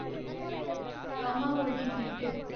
comma holdings limited